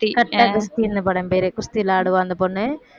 கட்டா குஸ்தி இந்த படம் பேரு குஸ்தி விளையாடுவா அந்த பொண்ணு